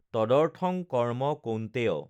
তদৰ্থং কৰ্ম্ম কৌন্তেয়!